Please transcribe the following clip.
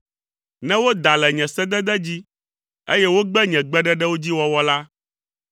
ne woda le nye sedede dzi, eye wogbe nye gbeɖeɖewo dzi wɔwɔ la,